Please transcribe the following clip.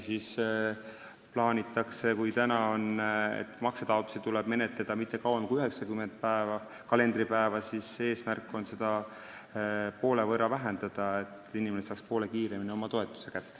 Kui praegu tuleb maksetaotlusi menetleda mitte kauem kui 90 kalendripäeva, siis eesmärk on seda aega poole võrra lühendada, et inimene saaks poole kiiremini oma toetuse kätte.